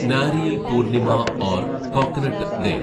നാരിയൽ പൂർണിമ ഓർ coconut day